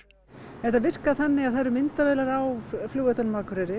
þetta virkar þannig að það eru myndavélar á flugvellinum á Akureyri